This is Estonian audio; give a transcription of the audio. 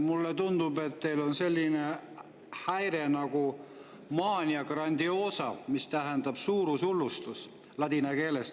Mulle tundub, et teil on selline häire nagu mania grandiosa, mis tähendab ladina keeles "suurushullustus".